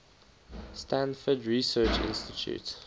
stanford research institute